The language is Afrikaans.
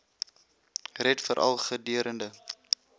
red veral gedurende